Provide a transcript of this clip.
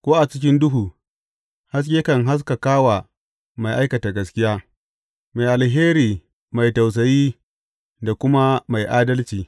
Ko a cikin duhu haske kan haskaka wa mai aikata gaskiya, mai alheri mai tausayi da kuma mai adalci.